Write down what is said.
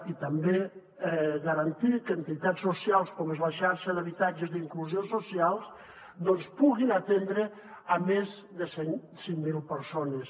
i també garantir que entitats socials com és la xarxa d’habitatges d’inclusió social puguin atendre més de cinc mil persones